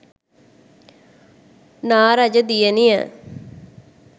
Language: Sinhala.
නා රජ දියණිය